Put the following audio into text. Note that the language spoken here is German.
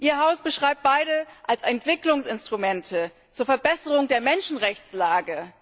Ihr Haus beschreibt beide als Entwicklungsinstrumente zur Verbesserung der Menschenrechtslage.